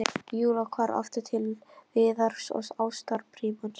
Og Júlía hvarf aftur til Viðars og ástarbrímans.